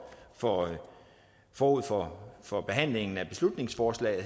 for forud for for behandlingen af beslutningsforslaget